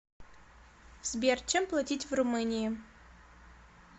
сбер чем платить в румынии